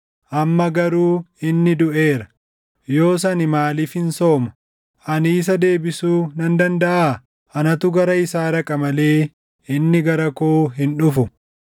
Amma garuu inni duʼeera; yoos ani maaliifin sooma? Ani isa deebisuu nan dandaʼaa? Anatu gara isaa dhaqa malee inni gara koo hin dhufu!”